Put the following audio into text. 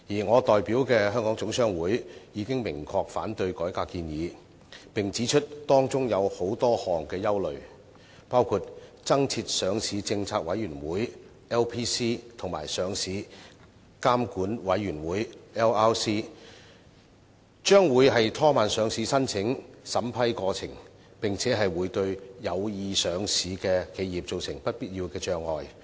我代表的香港總商會已明確反對改革建議，並指出當中有多項憂慮，包括增設上市政策委員會及上市監管委員會將會拖慢上市申請審批過程，並會對有意上市的企業造成不必要的障礙。